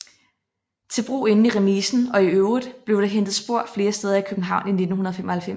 Til brug inde i remisen og i øvrigt blev det hentet spor flere steder i København i 1995